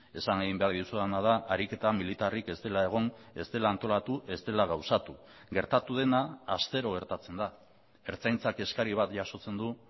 esan egin behar dizudana da ariketa militarrik ez dela egon ez dela antolatu ez dela gauzatu gertatu dena astero gertatzen da ertzaintzak eskari bat jasotzen du